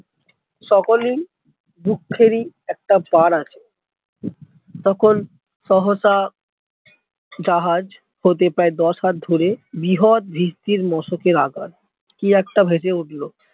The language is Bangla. সকলেই দুঃখের ই একটা পার আছে তখন সহয়তা জাহাজ হতে প্রায় দশ হাত দূরে বৃহৎ ভিস্তির মশকের আকার কি একটা ভেসে উঠল